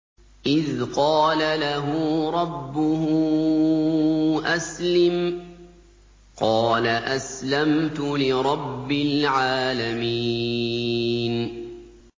إِذْ قَالَ لَهُ رَبُّهُ أَسْلِمْ ۖ قَالَ أَسْلَمْتُ لِرَبِّ الْعَالَمِينَ